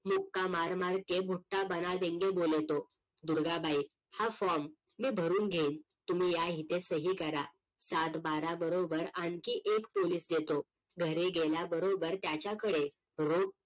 मार मार के भूटा बना देंगे बोले तोदुर्गाबाई हा form मी भरून घेईन तुम्ही या इथे सही करा सातबारा बरोबर आणखी एक पोलीस देतो घरी गेल्या बरोबर त्याच्याकडे रोख